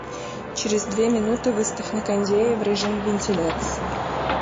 через две минуты выставь на кондее в режим вентиляции